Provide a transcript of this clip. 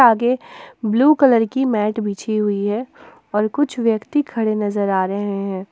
आगे blue colour की mat बिछी हुई है और कुछ व्यक्ति खड़े नजर आ रहे हैं।